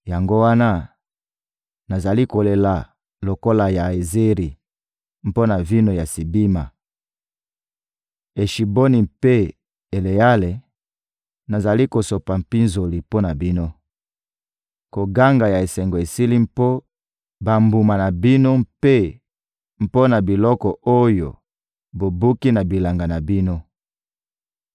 Yango wana, nazali kolela lokola Yaezeri mpo na vino ya Sibima. Eshiboni mpe Eleale, nazali kosopa mpinzoli mpo na bino! Koganga ya esengo esili mpo bambuma na bino mpe mpo na biloko oyo bobuki na bilanga na bino.